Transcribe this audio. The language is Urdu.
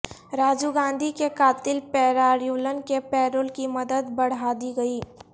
راجیو گاندھی کے قاتل پیراریولن کے پیرول کی مدت بڑھادی گئی